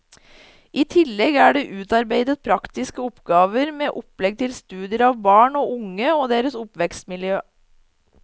I tillegg er det utarbeidet praktiske oppgaver med opplegg til studier av barn og unge og deres oppvekstmiljø.